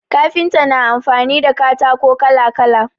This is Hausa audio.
Kafinta na amfani da katako kala kala